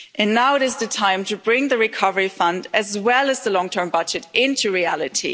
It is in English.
Now is the time to bring the Recovery Fund, as well as the long-term budget, into reality.